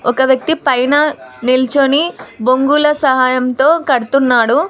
ఒక వ్యక్తి పైన నిల్చొని బొంగుల సహాయంతో కడుతున్నాడు.